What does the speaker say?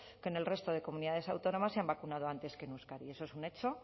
que en el resto de comunidades autónomas se han vacunado antes que en euskadi eso es un hecho